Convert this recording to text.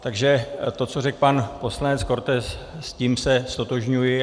Takže to, co řekl pan poslanec Korte, s tím se ztotožňuj.